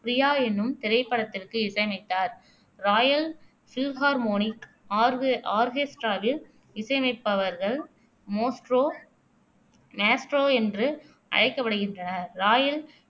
ப்ரியா என்னும் திரைப்படத்திற்கு இசையமைத்தார் இராயல் ஃபில்ஹார்மோனிக் ஆர்க ஆர்கெஸ்டிராவில் இசையமைப்பவர்கள் மோஸ்ட்ரோ மேஸ்ட்ரோ என்று அழைக்கப்படுகின்றனர் ராயல்